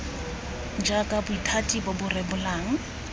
jaaka bothati bo bo rebolang